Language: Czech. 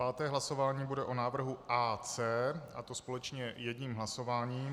Páté hlasování bude o návrhu AC, a to společně jedním hlasováním.